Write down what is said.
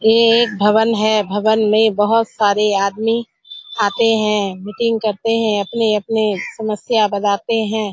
ये एक भवन है। भवन में बहुत सारे आदमी आते हैं मीटिंग करते हैं अपने-अपने समस्या बताते हैं।